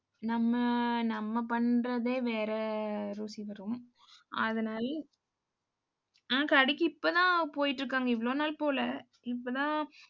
நம்ம, நம்ம பண்றதே வேற ருசி வரும். அதனால ஹம் கடைக்கு இப்பதான போயிட்டிருக்காங்க. இவ்வளவு நாள் போகல இப்பதான்